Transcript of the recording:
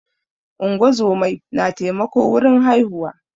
ungozomai na taimako wurin haihuwa